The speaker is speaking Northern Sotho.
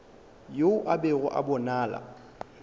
yo a bego a bonala